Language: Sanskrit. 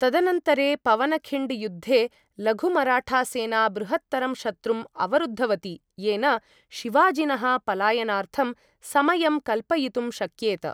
तदनन्तरे पवनखिण्ड् युद्धे, लघुमराठासेना बृहत्तरं शत्रुम् अवरुद्धवती येन शिवाजिनः पलायनार्थं समयं कल्पयितुं शक्येत।